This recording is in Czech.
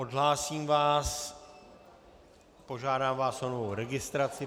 Odhlásím vás, požádám vás o novou registraci.